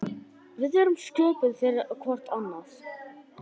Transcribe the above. Við erum sköpuð fyrir hvort annað.